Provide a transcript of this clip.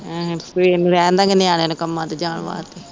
ਆਹਾਂ ਸਵੇਰ ਨੂੰ ਰਹਿਣ ਦਾ ਗੇ ਨਿਆਣੇਆਂ ਨੂੰ ਕੰਮਾਂ ਤੇ ਜਾਣ ਵਾਸਤੇ